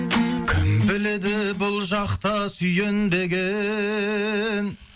кім біледі бұл жақта сүйенбеген